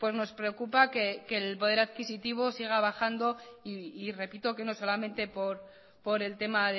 nos preocupa que el poder adquisitivo siga bajando y repito que no solamente por el tema